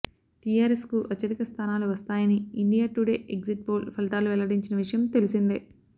TRS కు అత్యధిక స్థానాలు వస్తాయని ఇండియా టుడే ఎగ్జిట్ పోల్ ఫలితాలు వెల్లడించిన విషయం తెలిసిందే